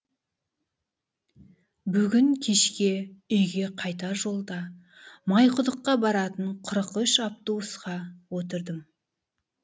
бүгін кешке үйге қайтар жолда майқұдыққа баратын қырық үш автобусқа отырдым